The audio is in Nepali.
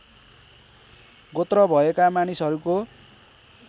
गोत्र भएका मानिसहरूको